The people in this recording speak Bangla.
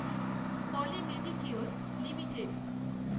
poly Medicure limited